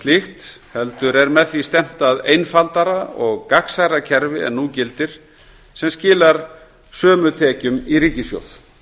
slíkt heldur er með því stefnt að einfaldara og gagnsærra kerfi en nú gildir sem skilar sömu tekjum í ríkissjóð